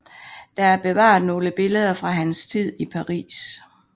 Der er bevaret nogle billeder fra hans tid i Paris